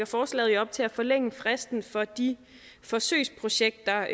forslaget jo op til at forlænge fristen for de forsøgsprojekter